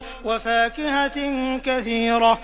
وَفَاكِهَةٍ كَثِيرَةٍ